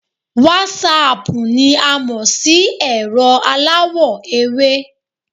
Wásaàpù ni a mò sí ẹ̀rọ aláwọ̀ ewé